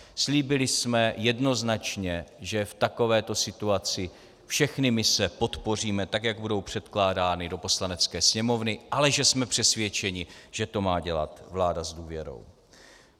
Slíbili jsme jednoznačně, že v takovéto situaci všechny mise podpoříme, tak jak budou předkládány do Poslanecké sněmovny, ale že jsme přesvědčeni, že to má dělat vláda s důvěrou.